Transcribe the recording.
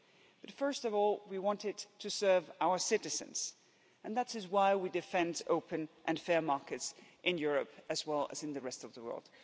But first of all, we want it to serve our citizens and that's why we defend open and fair markets in Europe as well as in the rest of the world.